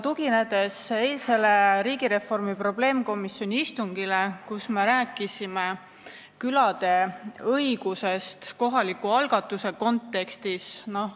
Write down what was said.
Tuginen eilsele riigireformi probleemkomisjoni istungile, kus me rääkisime külade õigustest kohaliku algatuse kontekstis.